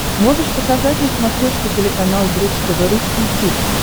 можешь показать на смотрешке телеканал бридж тв русский хит